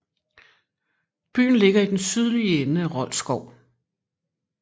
Byen ligger i den sydlige ende af Rold Skov